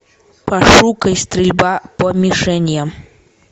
пошукай стрельба по мишеням